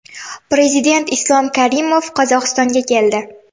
Prezident Islom Karimov Qozog‘istonga keldi.